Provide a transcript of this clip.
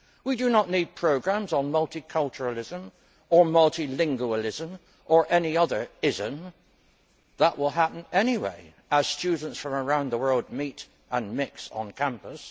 We do not need programmes on multiculturalism or multilingualism or any other ism', that will happen anyway as students from around the world meet and mix on campus.